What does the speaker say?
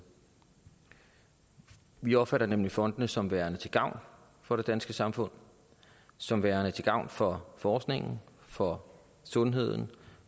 vi opfatter nemlig fondene som værende til gavn for det danske samfund som værende til gavn for forskningen for sundheden